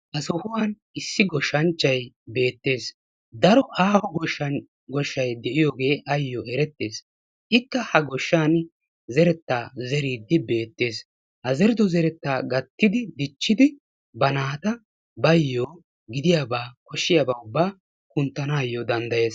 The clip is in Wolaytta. Ha sohuwan issi goshanchchay beetes. Daro aaho goshshay de'iyoogee ayoo erettes. Ikka ha goshshaani zeretta zeriiddi beettes. Ha zerido zeretta dichchidi gattidi ba naata bayoo gidiyabaa koshiyaabaa ubaa kunttanaayo danddayes.